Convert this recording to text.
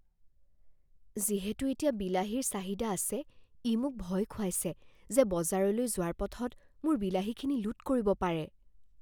যিহেতু এতিয়া বিলাহীৰ চাহিদা আছে, ই মোক ভয় খুৱাইছে যে বজাৰলৈ যোৱাৰ পথত মোৰ বিলাহীখিনি লুট কৰিব পাৰে।